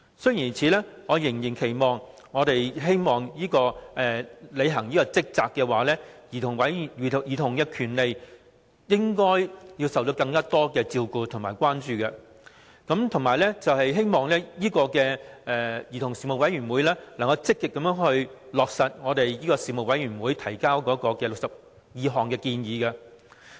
雖然如此，我仍然期望委員會能認真履行職責，因為兒童權利應受更多照顧及關注，並希望兒童事務委員會能積極落實小組委員會報告提出的62項建議。